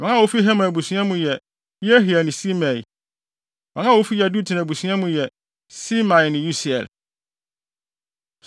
Wɔn a wofi Heman abusua mu yɛ: Yehiel ne Simei. Wɔn a wofi Yedutun abusua mu yɛ: Semaia ne Usiel.